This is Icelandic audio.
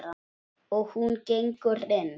Og hún gengur inn.